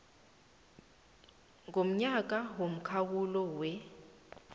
ngomnyaka ngomkhawulo wer